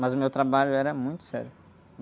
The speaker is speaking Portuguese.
Mas o meu trabalho era muito sério.